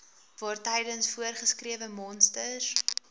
waartydens voorgeskrewe monsters